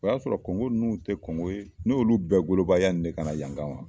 O y'a sɔrɔ Kɔnkɔ ninnu tɛ kɔnkɔ ye, n y'olu bɛɛ goloba yani ka na yan kama!